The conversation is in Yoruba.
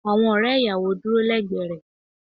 Awon ore iyawo duro legbe re.